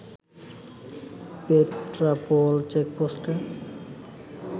Petrapole চেকপোস্টে